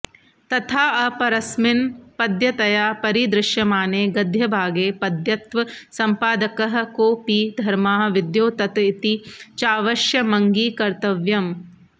तथाऽपरस्मिन् पद्यतया परिदृश्यमाने गद्यभागे पद्यत्वसम्पादकः कोपि धर्माः विद्योतत इति चावश्यमङ्गीकर्तव्यम्